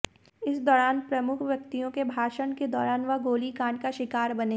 इस दौरान प्रमुख व्यक्तियों के भाषण के दौरान वह गोलीकांड का शिकार बने